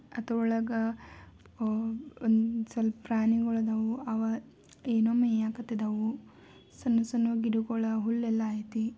ಅತರೊಳಗ ಅಹ್ ಒಂದ್ ಸ್ವಲ್ಪ್ ಪ್ರಾಣಿಗೋಳ್ ಅದಾವು ಅವ ಏನೋ ಮೇಯಾಕತಿದಾವು ಸಣ್ಣುಸಣ್ಣು ಗಿಡಗೋಳ್ ಹುಲ್ಲೆಲ್ಲಾ ಐತಿ .